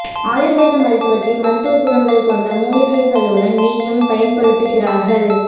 ஆயுர்வேத மருத்துவத்தில் மருத்துவ குணங்கள் கொண்ட மூலிகைகளுடன் நெய்யும் பயன்படுத்துகிறார்கள்